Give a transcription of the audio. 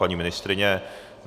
Paní ministryně?